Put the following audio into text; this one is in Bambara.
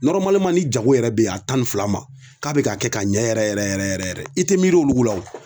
Nɔrɔmaliman ni jago yɛrɛ be ye a tan ni fila ma k'a be ka kɛ ka ɲɛ yɛrɛ yɛrɛ yɛrɛ yɛrɛ yɛrɛ i te miiri olu la wo